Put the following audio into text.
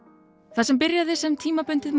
það sem byrjaði sem tímabundið